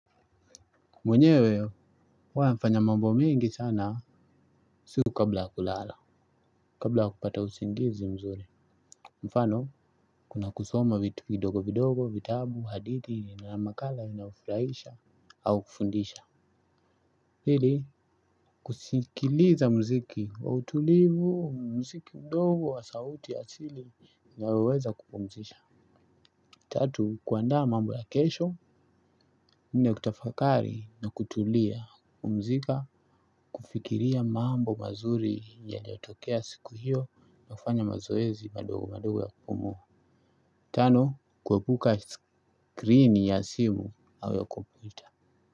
Mwenewe huwa nafanya mambo mingi sana usiku kabla ya kulala kabla ya kupata usingizi vizuri mfano kuna kitabu kusoma vitu vidogo vidogo vitabu hadithi makala inao furaisha au kufundisha. Hili kusikiliza mziki wa utulivu mziki mdogo wa sauti ya sili ya weweza kupumzisha tatu kuandaa mabo ya kesho nne kutafakari na kutulia pumzika. Kufikiria mambo mazuri yaliotokea siku hiyo nakufanya mazoezi madogo madogo ya kupumua tatu kuandaa mambo ya kesho.